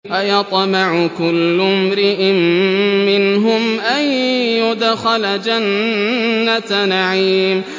أَيَطْمَعُ كُلُّ امْرِئٍ مِّنْهُمْ أَن يُدْخَلَ جَنَّةَ نَعِيمٍ